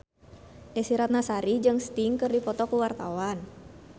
Desy Ratnasari jeung Sting keur dipoto ku wartawan